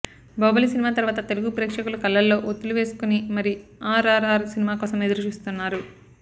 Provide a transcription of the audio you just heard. బాహుబలి సినిమా తర్వాత తెలుగు ప్రేక్షకులు కళ్ళల్లో ఒత్తులు వేసుకొని మరీ ఆర్ఆర్ఆర్ సినిమా కోసం ఎదురు చూస్తున్నారు